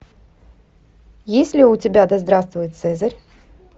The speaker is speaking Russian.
есть ли у тебя да здравствует цезарь